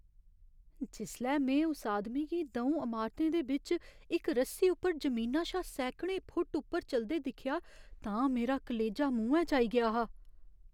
जिसलै में उस आदमी गी द'ऊं अमारतें दे बिच्च इक रस्सी उप्पर जमीना शा सैकड़ें फुट्ट उप्पर चलदे दिक्खेआ तां मेरा कलेजा मुहैं च आई गेआ हा।